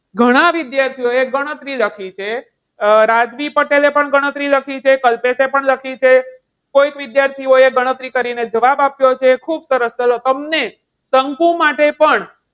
ઘણા વિદ્યાર્થીઓએ ગણતરી લખી છે. અમ રાજવી પટેલે પણ ગણતરી લખી છે, કલ્પેશે પણ લખી છે, કોઈક વિદ્યાર્થીઓએ ગણતરી કરીને જવાબ આપ્યો છે. ખુબ સરસ ચાલો. તમને શંકુ માટે પણ,